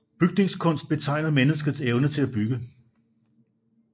Bygningskunst betegner menneskets evne til at bygge